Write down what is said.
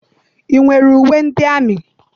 I nwere uwe ndị amị?